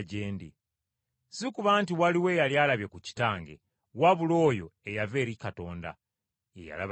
Si kuba nti waliwo eyali alabye ku Kitange, wabula oyo eyava eri Katonda, ye yalaba Kitaawe.